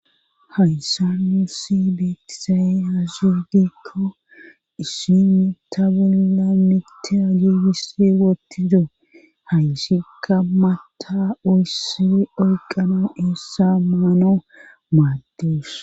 hayssa nuusi beetizaye hazu adekko isinni ta bolla mita giegisi woottido hayisikka maatta ooyssi oyqano eessa maanaw maaddess